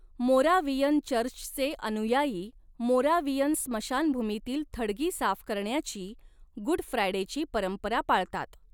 Moravian चर्चचे अनुयायी Moravian स्मशानभूमीतील थडगी साफ करण्याची गुड फ्रायडेची परंपरा पाळतात.